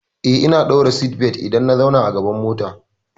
Eh, ina ɗaura seatbelt idan na zauna a gaban mota.